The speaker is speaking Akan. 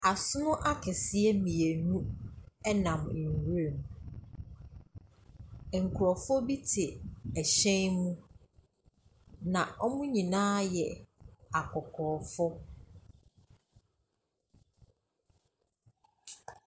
Asono akɛseɛ mmienu nam nwuram, nkrofo bi te hyɛn mu. Na wɔn nyinaa yɛ akɔkɔɔfo.